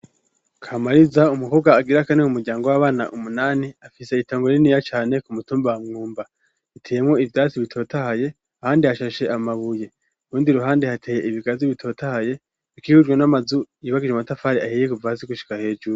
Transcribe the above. Kamariza, umukobwa agira kane mu muryango w'abana umunani, afise itongo riniya cane, Ku mutumba wa Mwumba. Riteyemwo ivyatsi bitotahaye, ahandi hashashe amabuye. K'urundi ruhande hateye ibigazi bitotahaye, hakiikujwe n'amazu yubakishije umatafari ahiye kuva hasi gushika hejuru.